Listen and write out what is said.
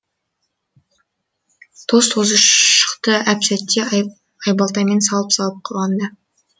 тоз тозы шықты әп сәттеайбалтамен салып салып қалғанда